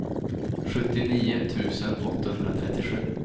sjuttionio tusen åttahundratrettiosju